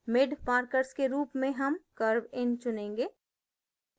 mid markers के रूप में हम curvein चुनेंगे